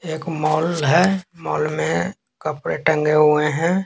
एक मॉल है मॉल में कपड़े टंगे हुए हैं।